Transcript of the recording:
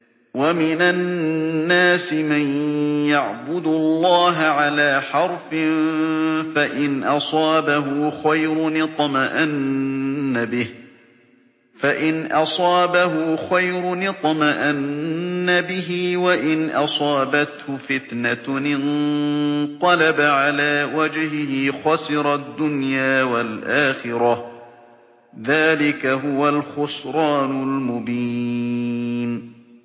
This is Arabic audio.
وَمِنَ النَّاسِ مَن يَعْبُدُ اللَّهَ عَلَىٰ حَرْفٍ ۖ فَإِنْ أَصَابَهُ خَيْرٌ اطْمَأَنَّ بِهِ ۖ وَإِنْ أَصَابَتْهُ فِتْنَةٌ انقَلَبَ عَلَىٰ وَجْهِهِ خَسِرَ الدُّنْيَا وَالْآخِرَةَ ۚ ذَٰلِكَ هُوَ الْخُسْرَانُ الْمُبِينُ